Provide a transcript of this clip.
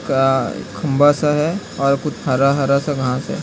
का एक बस है और कुछ हरा हरा सा घाँस है।